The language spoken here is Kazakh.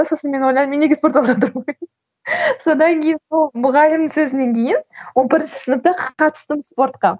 сосын мен ойлаймын мен неге спортзалда содан кейін сол мұғалімнің сөзінен кейін он бірінші сыныпта қатыстым спортқа